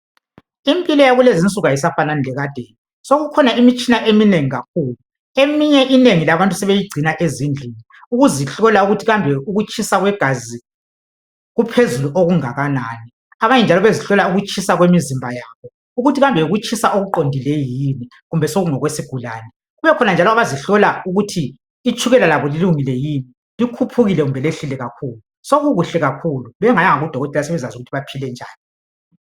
impilo yakulezi insuku ayisafanani lekadeni sokukhona imitshina eminengi kakhulu eminye enengi labantu sebeyigcina ezindlini ukuzihlola ukuthi kambe ukutshisa kwegazi kuphezulu okungakanani abanye njalo bezihlola ukutshisa kwemizimba yabo ukuthi kambe yikutshisa okuqondileyo yini kumbe sekungokwesigulane kubekhona njalo abazihlola ukuthi itshukela labo lilungile yini likhuphukile kumbe lehlile kakhulu sokukuhle kakhulu bengayanga ku dokotela sebekwazi ukuthi baphile njani